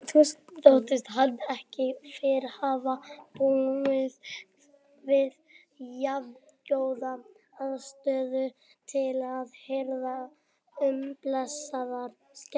Þóttist hann ekki fyrr hafa búið við jafngóða aðstöðu til að hirða um blessaðar skepnurnar.